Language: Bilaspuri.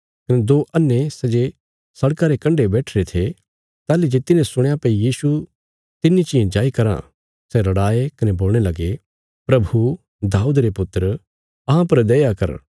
कने दो अन्हे सै जे सड़का रे कण्डे बैठिरे थे ताहली जे तिन्हे सुणया भई यीशु तिन्नी चियें जाई करां सै रड़ाये कने बोलणे लगे प्रभु दाऊद रे वंशज अहां पर दया कर